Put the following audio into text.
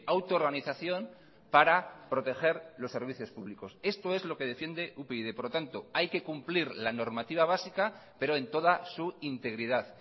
auto organización para proteger los servicios públicos esto es lo que defiende upyd por lo tanto hay que cumplir la normativa básica pero en toda su integridad